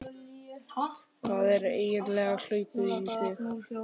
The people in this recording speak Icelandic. Hvað er eiginlega hlaupið í þig?